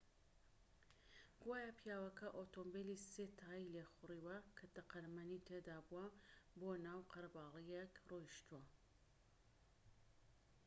گوایە پیاوەکە ئۆتۆمبێلی سێ تایەی لێخوڕیوە کە تەقەمەنی تێدا بووە بۆ ناو قەرەباڵغییەک ڕۆیشتووە